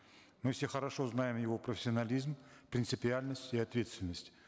мы все хорошо знаем его профессионализм принципиальность и ответственность